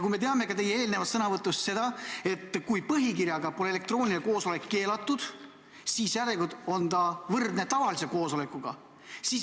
Me teame ka seda, et kui põhikirjaga pole elektrooniline koosolek keelatud, siis järelikult on see võrdne tavalise koosolekuga.